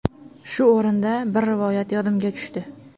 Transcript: Shu o‘rinda, bir rivoyat yodimga tushdi.